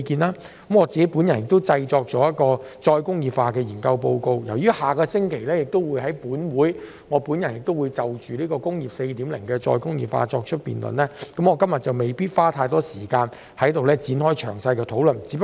我製作了一份再工業化研究報告，但因我下星期會在本會就"工業 4.0" 再工業化提出辯論，我今天不會在此多花時間詳細討論。